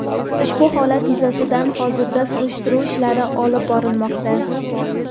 Ushbu holat yuzasidan hozirda surishtiruv ishlari olib borilmoqda.